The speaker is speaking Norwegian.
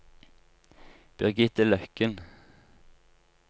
Birgitte Løkken